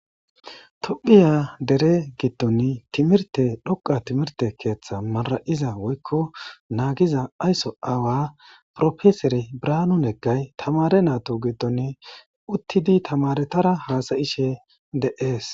Tophiya deere giddon timirte dhoqa timirte keeththa mara7iza woykko naagiza ayso aawa profesere birahanu neggay tamare naytta giddon uttidi tamaretara haasayishe de7ees.